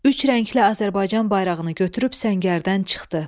Üç rəngli Azərbaycan bayrağını götürüb səngərdən çıxdı.